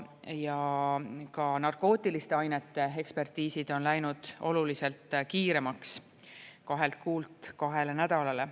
Ja ka narkootiliste ainete ekspertiisid on läinud oluliselt kiiremaks, kahelt kuult kahele nädalale.